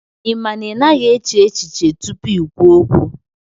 Ị ma na ị naghị eche echiche tupu i kwuo okwu